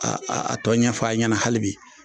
a tɔ ɲɛfɔ a ɲɛna hali bi.